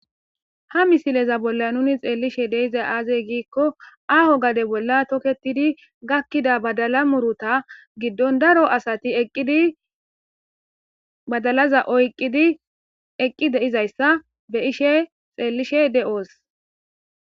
Ha misileza bola nuni xeliishshe dizayi aze gikko aho gade bola toketidi gakkida badala muruta giddoni daro asati aqidi badalaza oyiqidi eqi deizayisa besishshe xeliishshe deosi